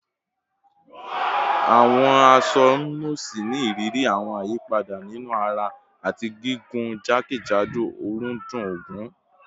Aṣọ awọn nọọsi ni iriri awọn ayipada ninu ara ati gigun jakejado ọrundun ogun